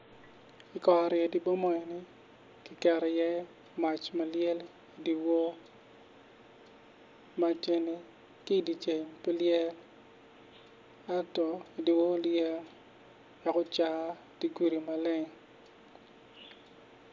I kor ot mo ki keto iye mac ma lyel i dye wor mac eni ka i dye ceng pe lyel ento i dye wor lyel dok caro dye gudi maleng.